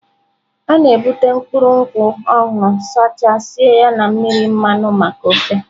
A na-ebute mkpụrụ nkwụ ọhụrụ, sachaa, sie ya na mmiri mmanụ maka ofe.